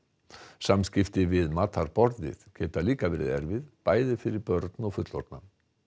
samskipti við matarborðið geta líka verið erfið bæði fyrir börn og fullorðna